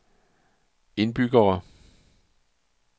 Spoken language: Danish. indbyggere